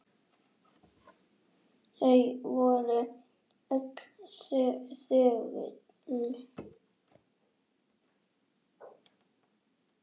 Þau voru öll þögul.